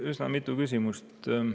Üsna mitu küsimust.